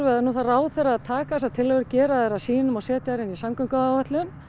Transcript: nú þarf ráðherra að taka þessar tillögur gera þær að sínum setja þær inn í samgönguáætlun